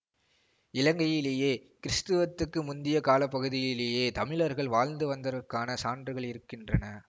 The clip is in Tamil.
இலங்கையிலேயே கிறீஸ்துவுக்கு முந்திய கால பகுதிகளிலேயே தமிழர்கள் வாழ்ந்து வந்ததற்கான சான்றுகள் இருக்கின்றன